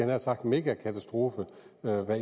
nær sagt megakatastrofe hvad